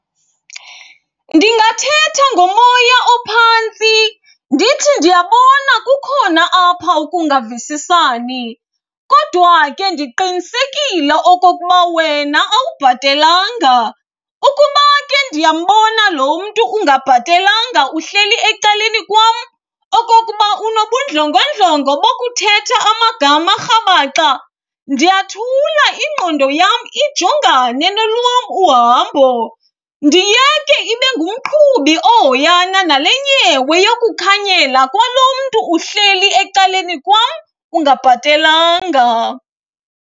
Ndingathetha ngomoya ophantsi ndithi ndiyabona kukhona apha ukungavisisani kodwa ke ndiqinisekile okokuba wena awubhatelanga. Ukuba ke ndiyambona lo mntu ungabhatelanga uhleli ecaleni kwam okokuba unobundlongondlongo bokuthetha amagama arhabaxa, ndiyathula, ingqondo yam ijongane nolwam uhambo, ndiyeke ibe ngumqhubi ohoyana nale nyewe yokukhanyela kwalo mntu uhleli ecaleni kwam ungabhatelanga.